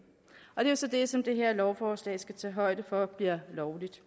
og det er så det som det her lovforslag skal tage højde for bliver lovligt